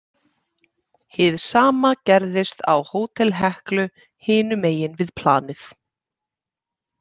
Hið sama gerðist á Hótel Heklu hinum megin við planið.